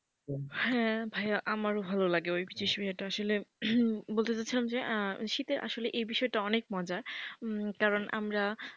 হ্যাঁ ভাইয়া আমারও ভালো লাগে ওই বিষয়টা আসলে বলতে চাচ্ছিলাম যে শীতে আসলে এই বিষয়টা অনেক মজার। কারণ আমরা,